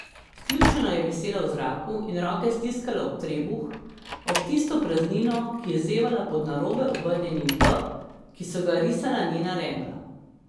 Sključeno je visela v zraku in roke stiskala ob trebuh, ob tisto praznino, ki je zevala pod narobe obrnjenim V, ki so ga risala njena rebra.